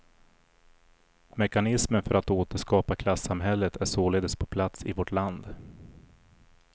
Mekanismen för att återskapa klassamhället är således på plats i vårt land.